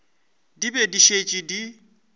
di be di šetše di